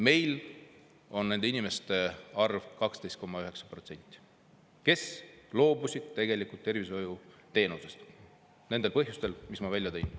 Meil on nende inimeste arv 12,9%, kes loobusid tegelikult tervishoiuteenusest nendel põhjustel, mis ma välja tõin.